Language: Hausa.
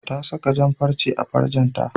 Ta saka jan-farce a farcenta.